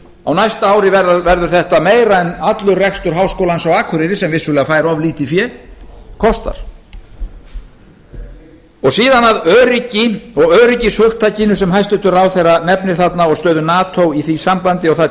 á næsta ári verður þetta meira heldur en allur rekstur háskólans á akureyri sem vissulega fær of lítið fé kostar síðan að öryggi og öryggishugtakinu sem hæstvirtur ráðherra nefnir þarna og stöðu nato í því sambandi og það